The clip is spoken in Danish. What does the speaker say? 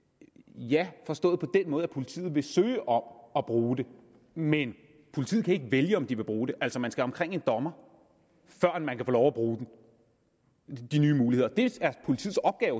ja forstået på den måde at politiet vil søge om at bruge dem men politiet kan ikke vælge om de vil bruge dem altså man skal omkring en dommer før man kan få lov at bruge de nye muligheder det er